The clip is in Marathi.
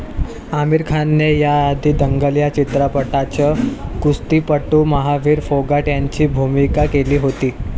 आमीर खानने याआधी दंगलया चित्रपटाच कुस्तीपटू महावीर फोगाट यांची भूमिका केली होती.